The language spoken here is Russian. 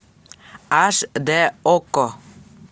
аш дэ окко